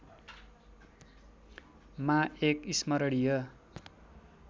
मा एक स्मरणीय